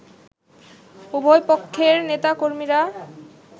উভয়পক্ষের নেতাকর্মীরা